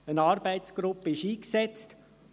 Eine Arbeitsgruppe ist eingesetzt.